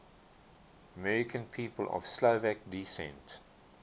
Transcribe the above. american people of slovak descent